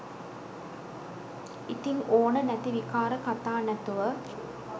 ඉතින් ඕන නැති විකාර කතා නැතුව